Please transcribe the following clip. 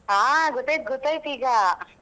ಹಾ ಗೊತ್ತಾಯ್ತು ಗೊತ್ತಾಯ್ತು ಈಗ.